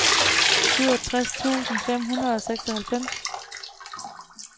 syvogtres tusind fem hundrede og seksoghalvfems